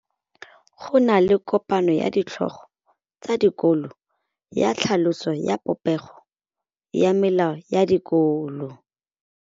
Go na le kopanô ya ditlhogo tsa dikolo ya tlhaloso ya popêgô ya melao ya dikolo.